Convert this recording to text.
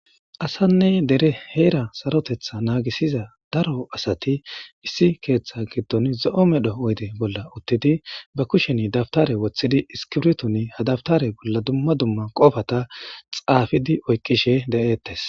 Asanne dere heera sarotetha naagisiza daro asati issi keeththa giddon zo7o medho oyde bolla uttidi ba kushen dabtare woththidi iskibirtun hadabtare bolla dumma dumma qofata xaafidi oykqishe de7eettes.